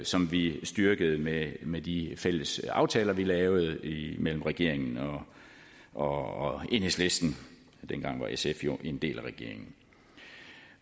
som vi styrkede med med de fælles aftaler vi lavede imellem regeringen og enhedslisten dengang var sf jo en del af regeringen